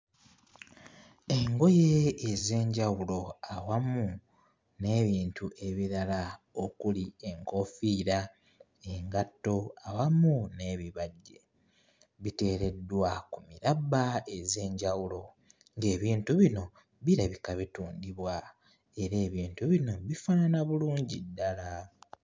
Engoye ez'enjawulo awamu n'ebintu ebirala okuli enkoofiira, engatto awamu n''ebibajje. Biteereddwa ku mirabba ez'enjawulo, ng'ebintu bino birabika bitundibwa era ebintu bino bifaanana bulungi ddala.